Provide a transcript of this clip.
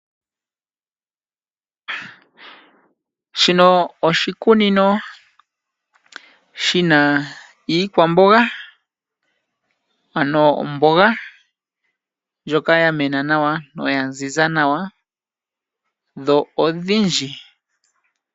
Shino oshikunino shina iikwamboga ano omboga ndjoka ya mena nawa noya ziza nawa. Dho odhindji.